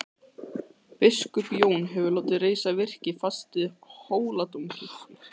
Biskup Jón hefur látið reisa virki fast við Hóladómkirkju.